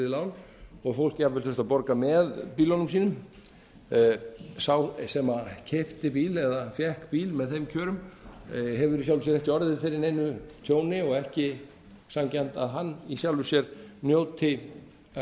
lán og fólk jafnvel þurft að borga með bílunum sínum sá sem keypti bíl eða fékk bíl með þeim kjörum hefur í sjálfu sér ekki orðið fyrir neinu tjóni og ekki sanngjarnt að hann í sjálfu sér njóti